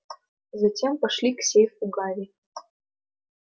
затем пошли к сейфу гарри